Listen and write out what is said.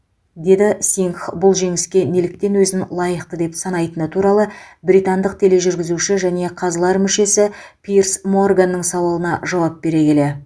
деді сингх бұл жеңіске неліктен өзін лайықты деп санайтыны туралы британдық тележүргізуші және қазылар мүшесі пирс морганның сауалына жауап бере келе